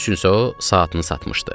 Bunun üçün isə o saatını satmışdı.